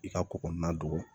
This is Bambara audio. I ka ko kɔnɔna don